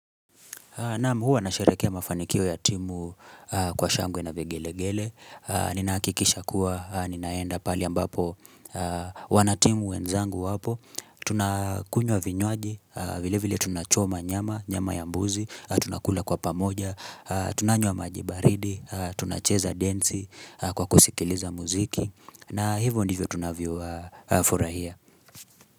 Naam huwa nasherehekea mafanikio ya timu kwa shangwe na vigelegele. Ninahakikisha kuwa ninaenda pahali ambapo wanatimu wenzangu wapo. Tunakunywa vinywaji, vile vile tunachoma nyama, nyama yambuzi, tunakula kwa pamoja, tunanywa maji baridi, tunacheza densi kwa kusikiliza muziki. Na hivyo ndivyo tunavyofurahia.